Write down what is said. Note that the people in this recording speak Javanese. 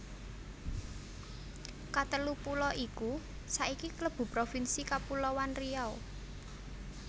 Katelu pulo iku saiki klebu Provinsi Kapuloan Riau